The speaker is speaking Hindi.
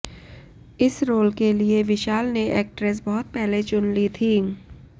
इस रोल के लिए विशाल ने एक्ट्रेस बहुत पहले चुन ली थी